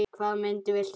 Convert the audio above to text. Hvaða mynd viltu sjá?